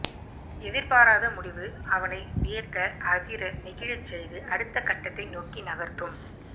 எதிர்பாராத முடிவு அவனை வியக்க அதிர நெகிழச்செய்து அடுத்த கட்டத்தை நோக்கி நகர்த்தும்